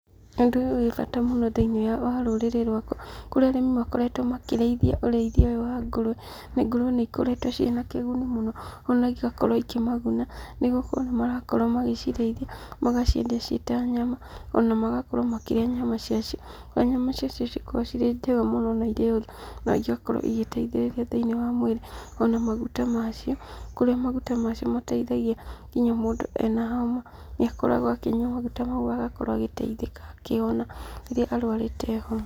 Ũndũ ũyũ wĩ bata mũno thĩiniĩ wa rũrĩrĩ rwakwa, kũrĩa arĩmi makoretwo makĩrĩithia ũrĩithia ũyũ wa ngũrwe. Na ngũrwe nĩikoretwo ciĩ na kĩguni mũno, ona igakorwo igĩkĩmaguna, nĩ gũkorwo nĩmarakorwo magĩcirĩithia, magaciendia ciĩ ta nyama, ona magakorwo makĩrĩa nyama cia cio, harĩa nyama cia cio cikoragwo ciĩ njega mũno, na igakorwo igĩteithĩrĩria thĩiniĩ wa mwĩrĩ. Ona maguta macio, kũrĩa maguta macio mateithagia nginya mũndũ ena homa, nĩakoragwo akĩnyua maguta mau agakorwo agĩteithĩka, akĩhona rĩrĩa arwarĩte homa.